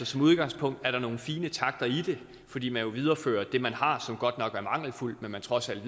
som udgangspunkt er der altså nogle fine takter i det fordi man jo viderefører det man har som godt nok er mangelfuldt men trods alt